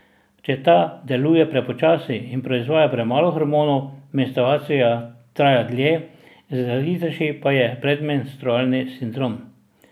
Če ta deluje prepočasi in proizvaja premalo hormonov, menstruacija traja dlje, izrazitejši pa je predmenstrualni sindrom.